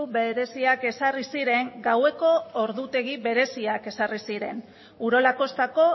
bereziak ezarri ziren gaueko ordutegi bereziak ezarri ziren urola kostako